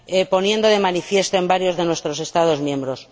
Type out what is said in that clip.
poniendo de manifiesto en varios de nuestros Estados miembros.